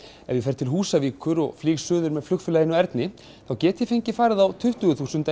ef ég fer til Húsavíkur og suður með flugfélaginu Erni þá get ég fengið farið á tuttugu þúsund ef